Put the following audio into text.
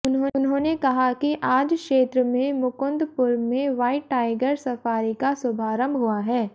उन्होंने कहा कि आज क्षेत्र में मुकुन्दपुर में व्हाइट टाइगर सफारी का शुभारंभ हुआ है